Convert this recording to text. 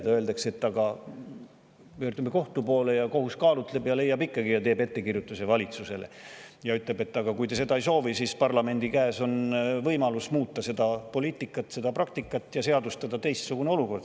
Siis öeldakse, et aga pöördume kohtu poole, kohus kaalutleb ja leiab ning teeb valitsusele ettekirjutuse ja ütleb, et aga kui te seda ei soovi, siis on parlamendi käes võimalus seda poliitikat ja praktikat muuta ning seadustada teistsugune olukord.